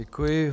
Děkuji.